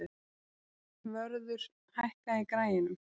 Vörður, hækkaðu í græjunum.